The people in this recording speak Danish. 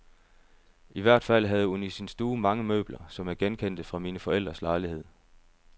I hvert fald havde hun i sin stue mange møbler, som jeg genkendte fra mine forældres lejlighed.